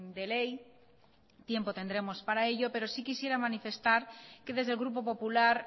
de ley tiempo tendremos para ello pero sí quisiera manifestar que desde el grupo popular